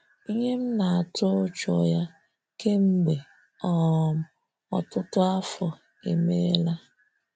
Ịhe m na-atụ ụjọ ya kemgbe um ọtụtụ afọ emeela!.